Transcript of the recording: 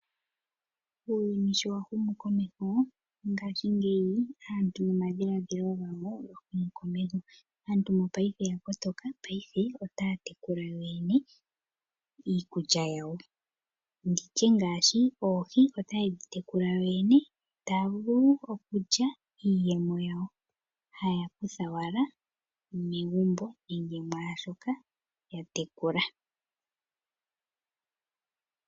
Uuyuni sho wa humu komeho ngashingeyi, aantu nomadhiladhilo gawo og huma komeho. Aantu mopaife oya kotoka. Paife otaa tekula yo yene iikulya yawo ngaashi oohi otaye dhi tekula dho dhene. Taya vulu wo okulya iiyemo yawo. Haya kutha owala megumbo nenge mwaashoka ya tekula.